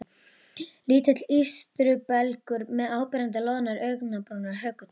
Lítill ístrubelgur með áberandi loðnar augnabrúnir og hökutopp.